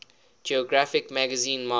geographic magazine march